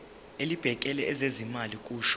elibhekele ezezimali kusho